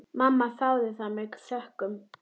Mamma þáði það með þökkum.